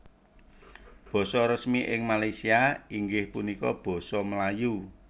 Basa resmi ing Malaysia inggih punika Basa Melayu